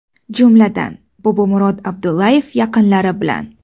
Jumladan: Bobomurod Abdullayev yaqinlari bilan.